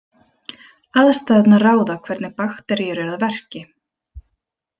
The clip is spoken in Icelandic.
Aðstæðurnar ráða hvernig bakteríur eru að verki.